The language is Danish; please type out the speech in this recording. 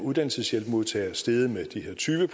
uddannelseshjælpsmodtagere steget med de her tyve